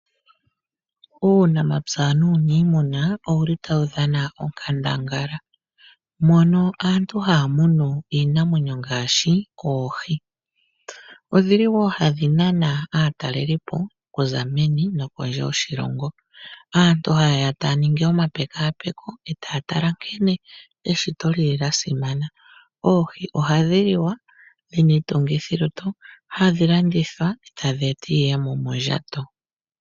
Uunamapya nuunimuna, owuli tawu dhana onkandangala mono aantu taamunu iinamwenyo ngaashi oohi, ndhoka dhili hadhi nana aatalelipo kuza meni no kondje yoshilongo. Aantu ha ye ya taa ningi omapekapeko etaatala nkene eshito lili lyasimana, oohi ohadhi liwa dho odhina iitungithi yo lutu hadhi landithwa etadheeta iiyemo mondjato.